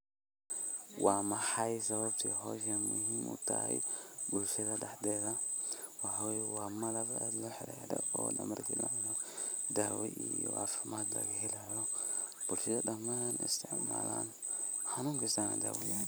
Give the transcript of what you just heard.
Wa maxay sawabtaa hooshan in maogtahay bulshada daxtetha, wa malab oo markana daawo maaragtay bulshada dhaman isticmalaan xanun kassto daawo u yahay.